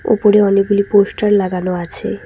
উপরে অনেকগুলি পোস্টার লাগানো আছে।